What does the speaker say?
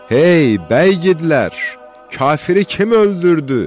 Ey, bəy igidlər, kafiri kim öldürdü?